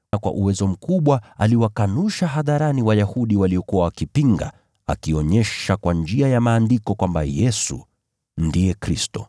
Kwa uwezo mkubwa aliwakanusha hadharani Wayahudi waliokuwa wakipinga, akionyesha kwa njia ya Maandiko kwamba Yesu ndiye Kristo.